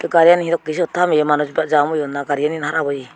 gari gan iyot he sot thameyi manuj jaam oyun na garigan harap oyi.